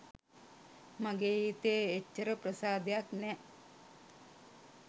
මගේ හිතේ එච්චර ප්‍රසාදයක් නෑ.